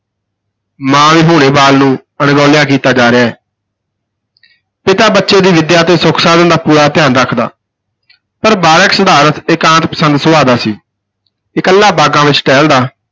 ਮਾਂ ਵਿਹੂਣੇ ਬਾਲ ਨੂੰ ਅਣਗੌਲਿਆਂ ਕੀਤਾ ਜਾ ਰਿਹਾ ਹੈ ਪਿਤਾ ਬੱਚੇ ਦੀ ਵਿਦਿਆ ਅਤੇ ਸੁਖ-ਸਾਧਨ ਦਾ ਪੂਰਾ ਧਿਆਨ ਰੱਖਦਾ ਪਰ ਬਾਲਕ ਸਿਧਾਰਥ ਇਕਾਂਤ ਪਸੰਦ ਸੁਭਾਅ ਦਾ ਸੀ, ਇਕੱਲਾ ਬਾਗਾਂ ਵਿਚ ਟਹਿਲਦਾ